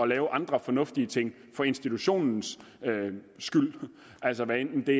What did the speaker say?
lave andre fornuftige ting for institutionens skyld altså hvad enten det